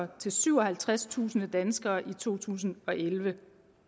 til syvoghalvtredstusind danskere i to tusind og elleve